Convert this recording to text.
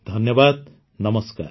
ଧନ୍ୟବାଦ ନମସ୍କାର